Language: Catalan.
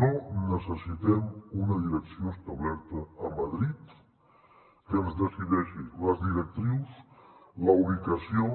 no necessitem una direcció establerta a madrid que ens decideixi les directrius la ubicació